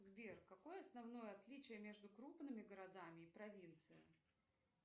сбер какое основное отличие между крупными городами и провинцией